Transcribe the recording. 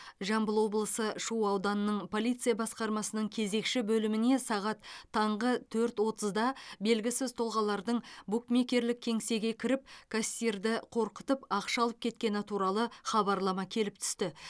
жамбыл облысы шу ауданының полиция басқармасының кезекші бөліміне сағат таңғы төрт отызда белгісіз тұлғалардың букмекерлік кеңсеге кіріп кассирді қорқытып ақша алып кеткені туралы хабарлама келіп түсті